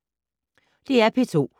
DR P2